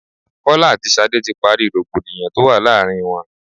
Kọ́lá àti Ṣadé ti parí rògbòdìyàn tó wà láàárín wọn.